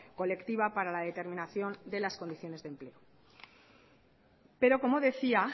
colectiva para la determinación de las condiciones de empleo pero como decía